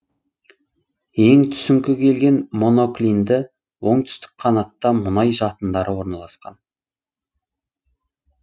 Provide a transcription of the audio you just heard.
ең түсіңкі келген моноклинді оңтүстік қанатта мұнай жатындары орналасқан